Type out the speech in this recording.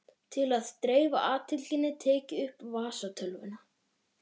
Til að dreifa athyglinni tek ég upp vasatölvuna.